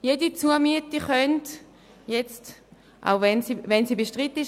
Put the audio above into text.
Jede Zumiete könnte auch einzeln abgelehnt werden, wenn sie bestritten ist.